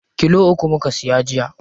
Kilo uku muka siya jiya.